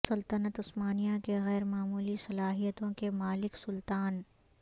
سلطنت عثمانیہ کے غیر معمولی صلاحیتوں کے مالک سلطان